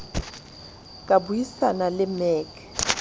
ka bui sana le mec